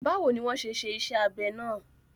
Bawo ni wọ́n ṣe ṣe iṣẹ́ abẹ náà?